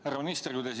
Härra minister!